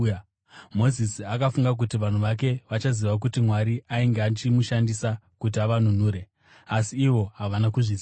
Mozisi akafunga kuti vanhu vake vachaziva kuti Mwari ainge achimushandisa kuti avanunure, asi ivo havana kuzviziva.